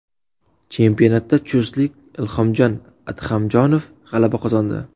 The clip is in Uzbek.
Chempionatda chustlik Ilhomjon Ahmadjonov g‘alaba qozondi.